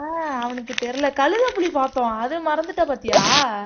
அஹ் அவனுக்கு தெரியலே கழுதைப்புலி பார்த்தோம் அது மறந்துட்ட பார்த்தியா